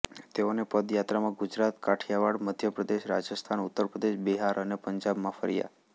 તેઓની પદયાત્રામાં ગુજરાત કાઠિયાવાડ મધ્ય પ્રદેશ રાજસ્થાન ઉત્તર પ્રદેશ બિહાર અને પંજાબમાં ફર્યા